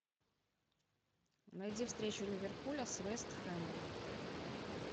найди встречу ливерпуля с вест хэмом